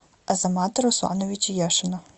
азамата руслановича яшина